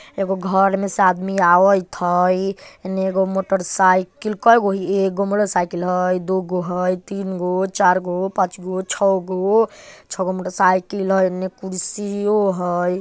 ऐगो घर मे से आदमी आवइत हइ। हेने एगो मोटरसाइकिल कइगो हई एगो मोटरसाइकिल हइ दुगो तीनगो चारगो पाँचगो छगो छगाे मोटरसाईकल हइ। एने कुर्सीयो हइ ।